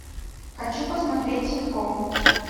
хочу посмотреть ситком